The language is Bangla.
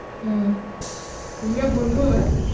হ্যাঁ রিয়া বন্ধু হয়?